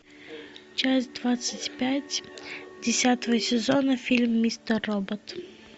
часть двадцать пять десятого сезона фильм мистер робот